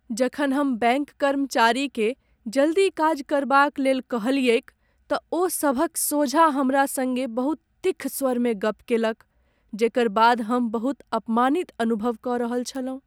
जखन हम बैङ्क कर्मचारीकेँ जल्दी काज करबाक लेल कहलियैक तँ ओ सभक सोझाँ हमरा संगे बहुत तिक्ख स्वरें गप्प केलक जेकर बाद हम बहुत अपमानित अनुभव कऽ रहल छलहुँ ।